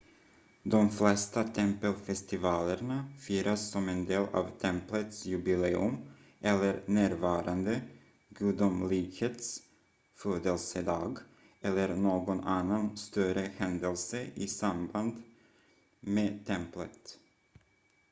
de flesta tempelfestivalerna firas som en del av templets jubileum eller närvarande gudomlighets födelsedag eller någon annan större händelse i samband med templet